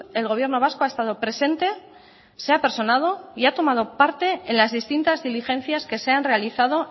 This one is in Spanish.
el gobierno vasco ha estado presente se ha personado y ha tomado parte en las distintas diligencias que se han realizado